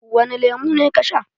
Wani lemu ne ka sha?